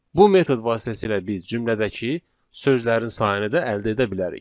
Bu metod vasitəsilə biz cümlədəki sözlərin sayını da əldə edə bilərik.